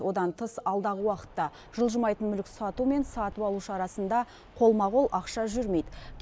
одан тыс алдағы уақытта жылжымайтын мүлік сату мен сатып алушы арасында қолма қол ақша жүрмейді